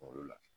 Kungolo la